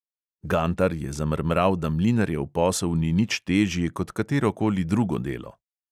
Gantar je zamrmral, da mlinarjev posel ni nič težji kot katerokoli drugo delo.